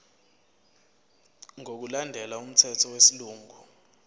ngokulandela umthetho wesilungu